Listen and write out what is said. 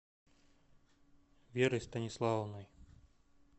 верой станиславовной